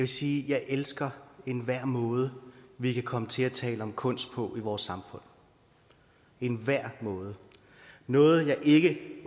sige at jeg elsker enhver måde vi kan komme til at tale om kunst på i vores samfund enhver måde noget jeg ikke